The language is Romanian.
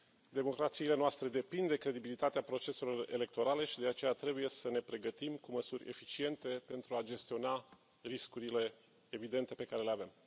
Democrațiile noastre depind de credibilitatea proceselor electorale și de aceea trebuie să ne pregătim cu măsuri eficiente pentru a gestiona riscurile evidente pe care le avem.